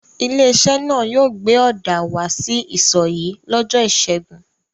Ilé-iṣẹ́ náà yóò gbé ọ̀dà wá sí isọ̀ yìí lọ́jọ́ ìṣẹ́gun.